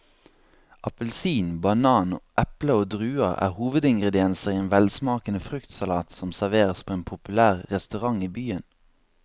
Appelsin, banan, eple og druer er hovedingredienser i en velsmakende fruktsalat som serveres på en populær restaurant i byen.